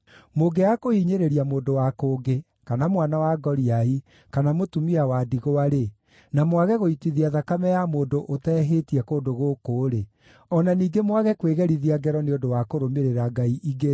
mũngĩaga kũhinyĩrĩria mũndũ wa kũngĩ, kana mwana wa ngoriai, kana mũtumia wa ndigwa-rĩ, na mwage gũitithia thakame ya mũndũ ũteehĩtie kũndũ gũkũ-rĩ, o na ningĩ mwage kwĩgerithia ngero nĩ ũndũ wa kũrũmĩrĩra ngai ingĩ-rĩ,